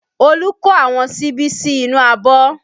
Olu ko àwọn síbí sí inú abọ́